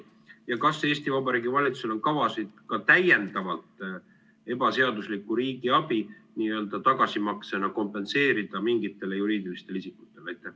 Ja kas Eesti Vabariigi Valitsusel on kavas ka täiendavalt ebaseaduslikku riigiabi mingitele juriidilistele isikutele tagasimaksena kompenseerida?